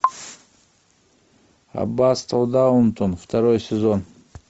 аббатство даунтон второй сезон